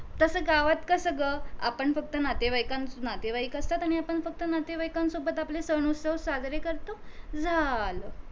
तस गावात कस ग आपण फक्त नातेवाईकांना नातेवाईक असतात आणि आपण फक्त नातेवाईकांसोबत आपले सण उत्सव साजरे करतो झालं